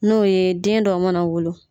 N'o ye den dɔ mana wolo.